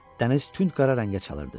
Dəniz tünd qara rəngə çalırdı.